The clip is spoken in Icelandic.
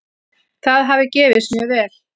Það hafi gefist mjög vel.